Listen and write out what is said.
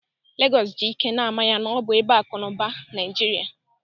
Legọs ji ike na-ama ya na ọ bụ ebe akụ na ụba Naijiria.